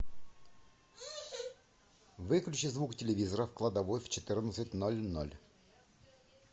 выключи звук телевизора в кладовой в четырнадцать ноль ноль